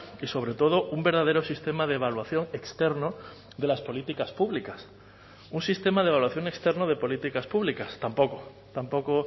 y sobre todo un verdadero sistema de evaluación externo de las políticas públicas un sistema de evaluación externo de políticas públicas tampoco tampoco